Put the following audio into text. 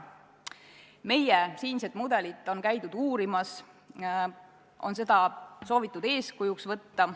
Meie mudelit on käidud uurimas, seda on soovitud eeskujuks võtta.